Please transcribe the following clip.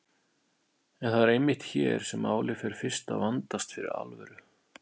En það er einmitt hér sem málið fer fyrst að vandast fyrir alvöru.